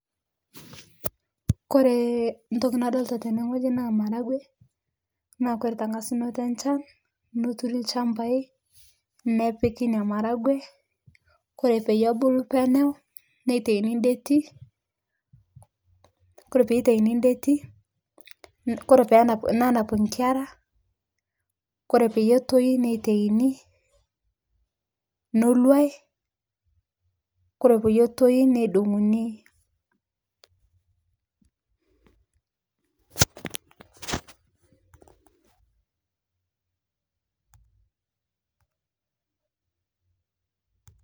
Kore ntoki nadolita tene ng'oji naa maragwe naa kore teng'asuno enshan noturi lchampai nepiki inia maragwee kore peiye ebulu peneu nentaini ndetii kore peitaini ndetii kore peenap nenap nkera kore peiye etoi neitaini noluai kore peyie etoi neidong'uni.